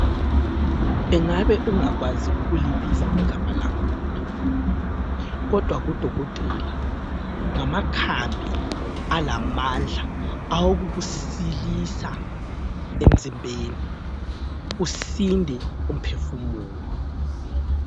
Ingabe ungakwazi ukulibiza igama lakhona! Kodwa kodokotela ngamakhambi alamandla awokukusilisa emzimbeni, usinde umphefumulo.